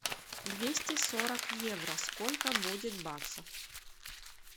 двести сорок евро сколько будет баксов